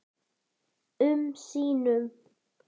um sínum.